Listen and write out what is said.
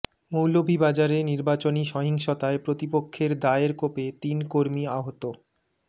মৌলভীবাজারে নির্বাচনী সহিংসতায় প্রতিপক্ষের দায়ের কোপে তিন কর্মী আহত